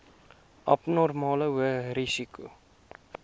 abnormale hoë risiko